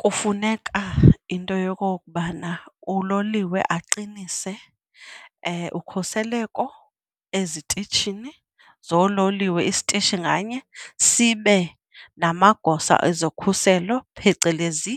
Kufuneka into yokokubana uloliwe aqinise ukhuseleko ezitishini zoololiwe, isitishi nganye sibe namagosa ezokhuselo, phecelezi